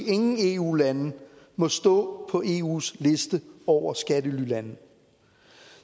ingen eu lande må stå på eus liste over skattelylande